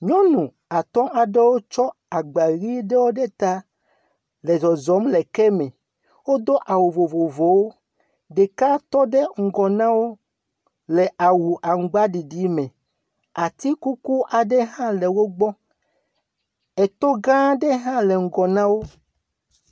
Nyɔnu atɔ̃ aɖewo tsɔ agba ʋi ɖewo ɖe ta le zɔzɔm ɖe ke me. Ɖeka tɔ ɖe ŋgɔ na wo le awu aŋgbaɖiɖi me, ati kuku aɖe hã le wo gbɔ, eto gã aɖe hã le ŋgɔ na wo.